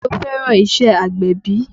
Ṣe o fẹ́ràn iṣẹ́ agbẹ̀bí?